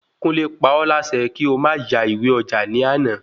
Kunle pa ọ́ lásẹ kí o ma ya ìwé ọjà ní àná